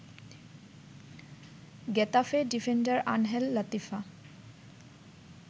Getafe defender Angel Latifa